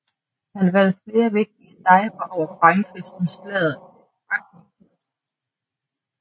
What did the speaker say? Han vandt flere vigtige sejre over Frankrig som slaget ved Agincourt